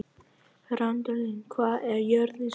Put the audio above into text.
Randalín, hvað er jörðin stór?